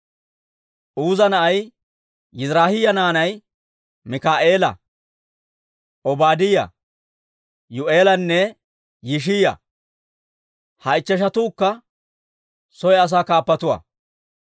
Uuza na'ay Yiziraahiyaa. Yiziraahiyaa naanay Mikaa'eela, Obaadiyaa, Yuu'eelanne Yishiyaa; ha ichcheshatuukka soy asaa kaappatuwaa.